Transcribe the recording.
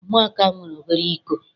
Ụmụaka nwere obere iko.